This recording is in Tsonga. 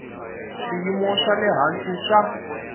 swiyimo swa le hansi swa